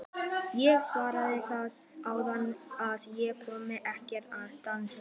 Ég sagði þér áðan að ég kynni ekkert að dansa.